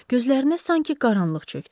Gözlərinə sanki qaranlıq çökdü.